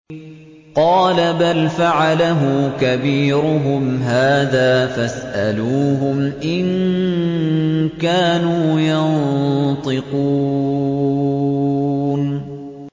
قَالَ بَلْ فَعَلَهُ كَبِيرُهُمْ هَٰذَا فَاسْأَلُوهُمْ إِن كَانُوا يَنطِقُونَ